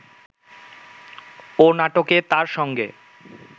ও নাটকে তার সঙ্গে